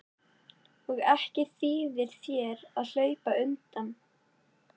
Og ekki þýðir þér að hlaupa undan.